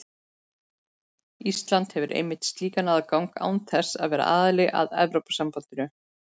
Ísland hefur einmitt slíkan aðgang án þess að vera aðili að Evrópusambandinu.